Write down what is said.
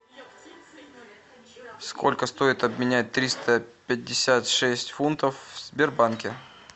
сколько стоит обменять триста пятьдесят шесть фунтов в сбербанке